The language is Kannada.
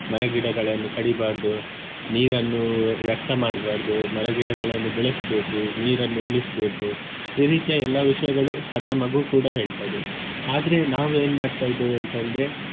ಮರ ಗಿಡಗಳನ್ನು ಕಡಿಬಾರ್ದು ನೀರನ್ನು ವ್ಯರ್ಥ ಮಾಡ್ಬಾರ್ದು ಮರ ಗಿಡಗಳನ್ನು ಬೆಳೆಸ್ಬೇಕು ನೀರನ್ನು ಉಳಿಸ್ಬೇಕು ಈ ರೀತಿಯ ಎಲ್ಲಾ ವಿಷಯಗಳು ಸಣ್ಣ ಮಗು ಕೂಡ ಹೇಳ್ತದೆ ಆದ್ರೆ ನಾವ್ ಏನ್ ಮಾಡ್ತಾ ಇದ್ದೇವೆ ಅಂತ ಅಂದ್ರೆ.